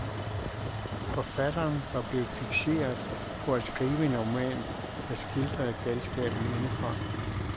Forfatteren var blevet fikseret på at skrive en roman, der skildrede galskaben indefra.